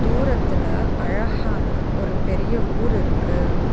தூரத்துல அழஹான ஒரு பெரிய ஊர் இருக்கு.